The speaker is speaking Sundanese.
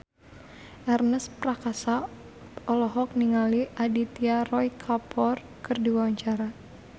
Ernest Prakasa olohok ningali Aditya Roy Kapoor keur diwawancara